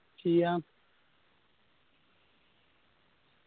ചെയ്യാം